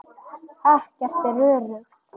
Ekkert er öruggt.